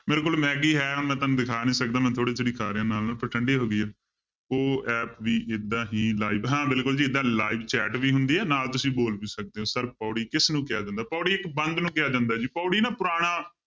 ਮੇਰੀ ਕੋਲ ਮੈਗੀ ਹੈ ਮੈਂ ਤੁਹਾਨੂੰ ਦਿਖਾ ਨੀ ਸਕਦਾ ਮੈਂ ਥੋੜ੍ਹੀ ਥੋੜ੍ਹੀ ਖਾ ਰਿਹਾਂ ਨਾਲ ਨਾਲ ਪਰ ਠੰਢੀ ਹੋ ਗਈ ਹੈ ਉਹ app ਵੀ ਏਦਾਂ ਹੀ live ਹਾਂ ਬਿਲਕੁਲ ਜੀ ਏਦਾਂ live chat ਵੀ ਹੁੰਦੀ ਹੈ ਨਾਲ ਤੁਸੀਂ ਬੋਲ ਵੀ ਸਕਦੇ ਹੋ sir ਪਾਉੜੀ ਕਿਸਨੂੰ ਕਿਹਾ ਜਾਂਦਾ, ਪਾਉੜੀ ਇੱਕ ਬੰਧ ਨੂੰ ਕਿਹਾ ਜਾਂਦਾ ਜੀ ਪਾਉੜੀ ਨਾ ਪੁਰਾਣਾ